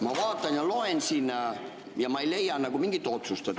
Ma vaatan ja loen siin ja ma ei leia nagu mingit otsust.